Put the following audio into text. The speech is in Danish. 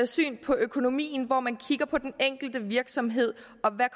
syn på økonomien hvor man kigger på den enkelte virksomhed og hvad